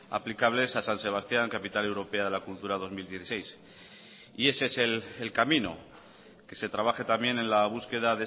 aplicables a san sebastián capital europea de la cultura dos mil dieciséis y ese es el camino que se trabaje también en la búsqueda